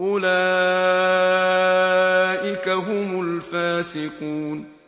أُولَٰئِكَ هُمُ الْفَاسِقُونَ